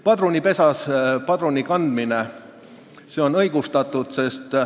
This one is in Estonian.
Padrunipesas padruni kandmine on õigustatud.